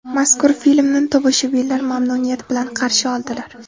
Mazkur filmni tomoshabinlar mamnuniyat bilan qarshi oldilar.